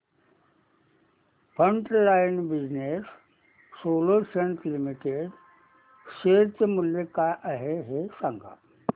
frontline business solutions limited share चे मूल्य काय आहे हे सांगा